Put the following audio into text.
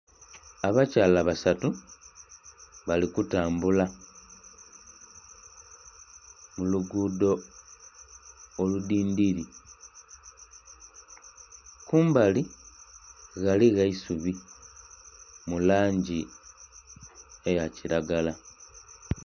Abakyala basatu bali kutambula mu luguudo oludhindhiri kumbali ghaligho eisubi mu langi eya kiragala.